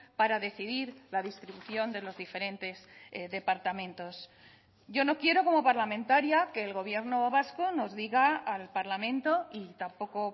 para decidir la distribución de los diferentes departamentos yo no quiero como parlamentaria que el gobierno vasco nos diga al parlamento y tampoco